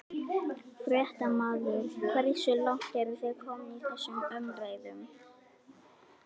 Fréttamaður: Hversu langt eru þið komin í þessum umræðum?